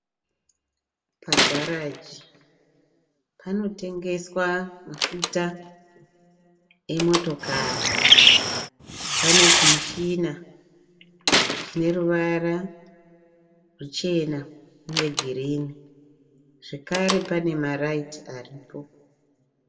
Pagaraji panotengeswa mafuta emotokari. Pane chimushina chine ruvara ruchena uye girinhi. Zvakare pane marayiti aripo.